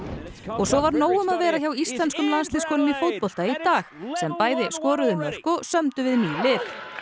svo var nóg um að vera hjá íslenskum landsliðskonum í fótbolta í dag sem bæði skoruðu mörk og sömdu við ný lið